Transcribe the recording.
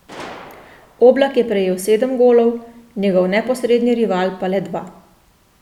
Oblak je prejel sedem golov, njegov neposredni rival pa le dva.